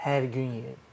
Hər gün yeyirdim.